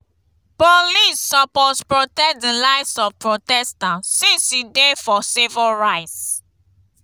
wetin you know about di different types of protest like online protests or street protest?